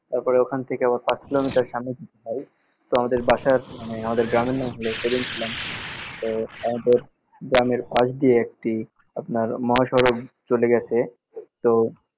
তারপর ওইখান থেকে আবার পাঁচ কিলোমিটার সামনে যেতে হয়। তো আমাদের বাসার মানে আমাদের গ্রামের নাম হল তো আমাদের গ্রামের পাশ দিয়ে একটি আপনার মহাসড়ক চলে গেছে, তো